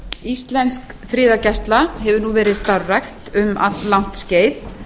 íslensk friðargæsla hefur nú verið starfrækt um alllangt skeið